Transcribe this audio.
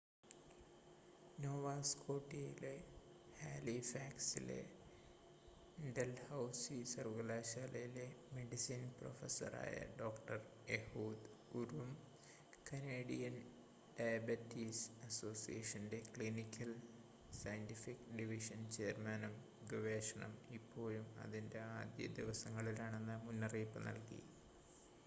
Nova സ്‌കോട്ടിയയിലെ ഹാലിഫാക്സിലെ Dalhousie സർവകലാശാലയിലെ മെഡിസിൻ പ്രൊഫസ്സറായ ഡോക്‌ടർ എഹൂദ് ഉറും കനേഡിയൻ ഡയബറ്റിസ് അസോസിയേഷൻ്റെ ക്ലിനിക്കൽ സയൻ്റിഫിക്ക് ഡിവിഷൻ ചെയർമാനും ഗവേഷണം ഇപ്പോഴും അതിൻ്റെ ആദ്യ ദിവസങ്ങളിലാണെന്ന് മുന്നറിയിപ്പ് നൽകി